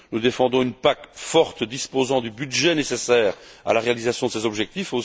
Nous défendons une PAC forte disposant du budget nécessaire à la réalisation de ses objectifs.